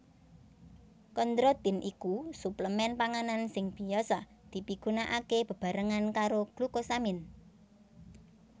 Kondrotin iku suplemen panganan sing biasa dipigunakaké bebarengan karo glukosamin